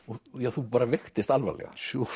þú bara veiktist alvarlega